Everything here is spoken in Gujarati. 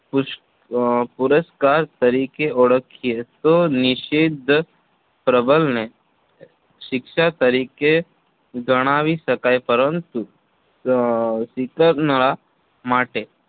પુશ પુરસ્કાર તરીકે ઓળખીએ તો નિષેધક પ્રબલનને શિક્ષા તરીકે જણાવી શકાય પરંતુ અમ Skinner ના માટે